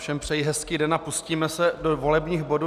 Všem přeji hezký den a pustíme se do volebních bodů.